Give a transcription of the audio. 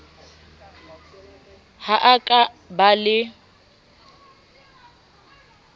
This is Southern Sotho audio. ho a ka ba le